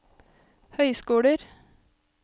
høyskoler